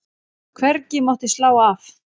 Hvergi mátti slá af.